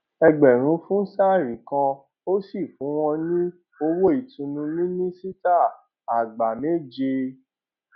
ẹgbẹrún fún sari kan ó sì fún wọn ní owó ìtùnú mínísítà àgbà méje